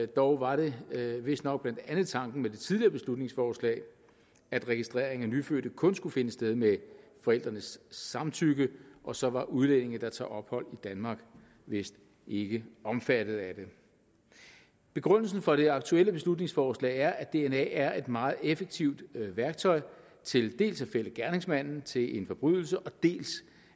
dog var det vistnok blandt andet tanken med det tidligere beslutningsforslag at registrering af nyfødte kun skulle finde sted med forældrenes samtykke og så var udlændinge der tager ophold i danmark vist ikke omfattet af det begrundelsen for det aktuelle beslutningsforslag er at dna er et meget effektivt værktøj til dels at fælde gerningsmanden til en forbrydelse dels